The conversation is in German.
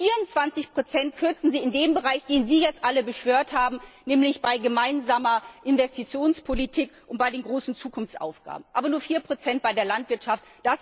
Und 24 kürzen Sie in dem Bereich, den Sie jetzt alle beschwört haben, nämlich bei gemeinsamer Investitionspolitik und bei den großen Zukunftsaufgaben, aber nur 4 bei der Landwirtschaft!